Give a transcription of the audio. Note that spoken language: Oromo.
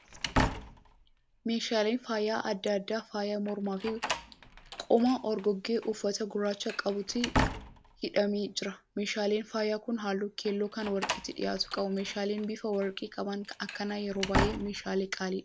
Meeshaaleen faaya adda adda: faaya mormaa fi qomaa orgoggee uffata gurraacha qabutti hidhamee jira. Meeshaaleen faaya kun halluu keelloo kan warqeetti dhiyaatu qabu. Meeshaaleen bifa warqee qaban akkanaa yeroo baay'ee meeshaalee qaaliidha.